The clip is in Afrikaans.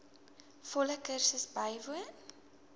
volle kursus bywoon